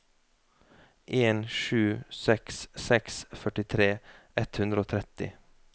en sju seks seks førtitre ett hundre og tretti